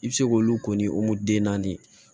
I bɛ se k'olu ko ni den naani ye